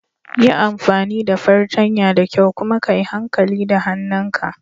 Yi amfani da fartanya da kyau kuma ka yi hankali da hannun ka.